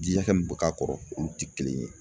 Ji hakɛ min bɛ k'a kɔrɔ olu tɛ kelen ye.